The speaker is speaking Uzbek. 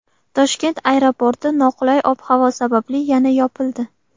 Toshkent aeroporti noqulay ob-havo sababli yana yopildi.